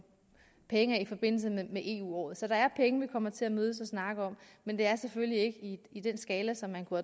penge af i forbindelse med eu året så der er penge som vi kommer til at mødes og snakke om men det er selvfølgelig ikke på den skala som man kunne